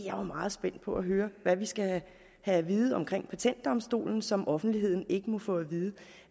er meget spændt på at høre hvad vi skal have at vide omkring patentdomstolen som offentligheden ikke må få at vide